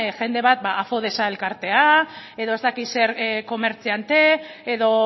jende bat ba elkartea edo ez dakit zer komertziante edo